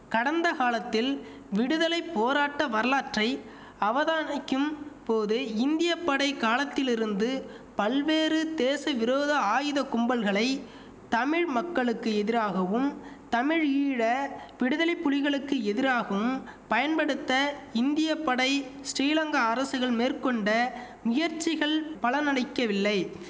கடந்த காலத்தில் விடுதலை போராட்ட வரலாற்றை அவதானைக்கும் போது இந்தியப்படை காலத்திலிருந்து பல்வேறு தேசவிரோத ஆயுத கும்பல்களை தமிழ் மக்களுக்கு எதிராகவும் தமிழீழ விடுதலைப்புலிகளுக்கு எதிராகும் பயன்படுத்த இந்திய படை ஸ்ரீலங்கா அரசுகள் மேற்கொண்ட முயற்சிகள் பலனளிக்கவில்லை